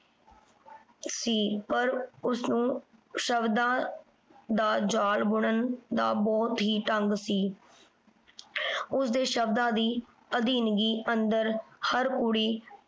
ਸੀ। ਪਰ ਉਸਨੂੰ ਸ਼ਬਦਾਂ ਦਾ ਜਾਲ ਬੁਣਨ ਦਾ ਬਹੁਤ ਹੀ ਢੰਗ ਸੀ। ਉਸਦੇ ਸ਼ਬਦਾਂ ਦੀ ਅਧੀਨਗੀ ਅੰਦਰ ਹਰ ਕੁੜੀ